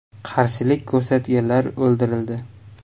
Qarshilik ko‘rsatganlar o‘ldirildi.